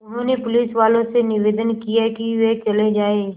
उन्होंने पुलिसवालों से निवेदन किया कि वे चले जाएँ